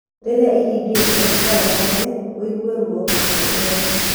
Rĩrĩa ĩhingĩkĩte no ũgande, ũigue ruo kana ũrware.